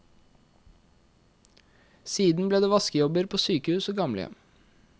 Siden ble det vaskejobber på sykehus og gamlehjem.